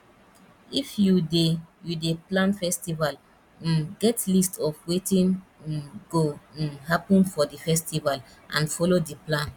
if you dey you dey plan festival um get list of wetin um go um happen for di festival and follow di plan